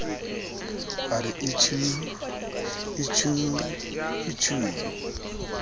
a re itjhuu itjhuu itjhuu